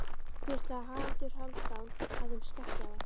hvíslaði Haraldur Hálfdán að þeim skeggjaða.